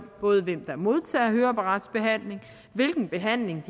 både hvem der modtager høreapparatbehandling hvilken behandling